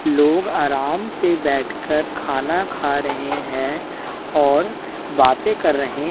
लोग आराम से बैठकर खाना खा रहे हैं और बातें कर रहे --